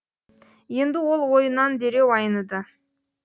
енді ол ойынан дереу айныды